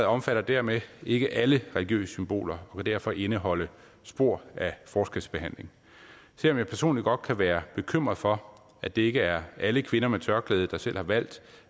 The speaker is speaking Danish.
omfatter dermed ikke alle religiøse symboler og vil derfor indeholde spor af forskelsbehandling selv om jeg personligt godt kan være bekymret for at det ikke er alle kvinder med tørklæde der selv har valgt